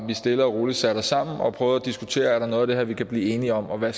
vi stille og roligt sætter os sammen og prøver at diskutere om der er noget af det her vi kan blive enige om og hvad